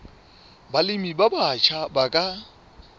balemi ba batjha ba ka